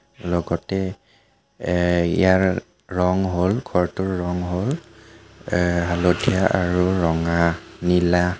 লগতে এ ইয়াৰ ৰং হ'ল ঘৰটোৰ ৰং হ'ল এ হালধীয়া আৰু ৰঙা নীলা.